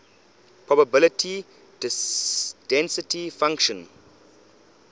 probability density function